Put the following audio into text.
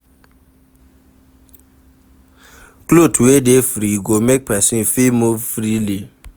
Cloth wey dey free go make person fit move freely